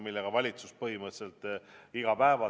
Valitsus tegeleb sellega põhimõtteliselt iga päev.